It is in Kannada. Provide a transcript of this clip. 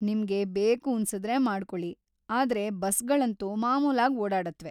ನಿಮ್ಗೆ ಬೇಕೂನ್ಸುದ್ರೆ ಮಾಡ್ಕೊಳಿ, ಆದ್ರೆ ಬಸ್ಗಳಂತೂ ಮಾಮೂಲಾಗ್ ಓಡಾಡತ್ವೆ.